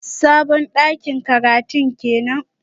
Sabon dakin karatun kenan?